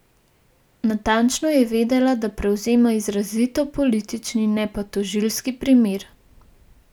Natančno je vedela, da prevzema izrazito politični, ne pa tožilski primer.